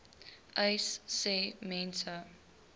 uys sê mense